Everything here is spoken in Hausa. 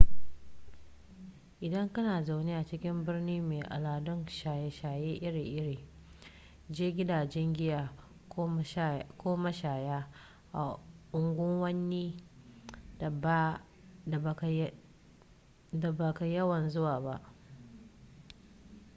idan kana zaune a cikin birni mai al'adun shaye-shaye iri-iri je gidajen giya ko mashaya a unguwannin da ba ka yawan zuwa